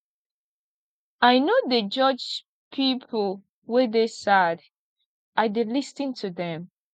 i no dey judge pipo wey dey sad i dey lis ten to dem